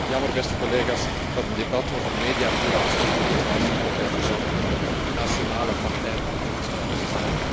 Het is alleen jammer, beste collega's, dat een debat over mediapluralisme in dit huis altijd verzandt in nationale partijpolitieke spelletjes.